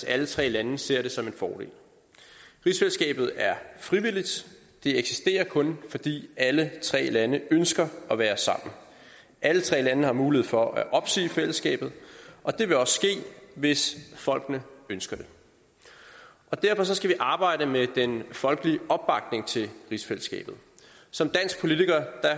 at alle tre lande ser det som en fordel rigsfællesskabet er frivilligt det eksisterer kun fordi alle tre lande ønsker at være sammen alle tre lande har mulighed for at opsige fællesskabet og det vil også ske hvis folkene ønsker det derfor skal vi arbejde med den folkelige opbakning til rigsfællesskabet som dansk politiker